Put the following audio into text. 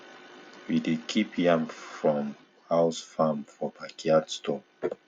we dey keep yam from house farm for backyard store